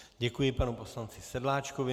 Děkuji panu poslanci Sedláčkovi.